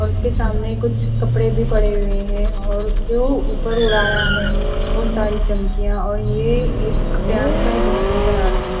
और उसके सामने कुछ कपडे भी पड़े हुए है और उसको उपर उड़ाया है बोहोत सारी चम्किया और ये एक डांसर नज़र अ रही है।